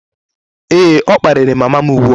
Ee, ọ kparịrị mama m ugbu a